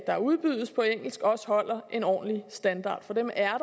der udbydes på engelsk også holder en ordentlig standard for dem er